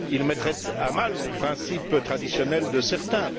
Il mettrait à mal les principes traditionnels de certains.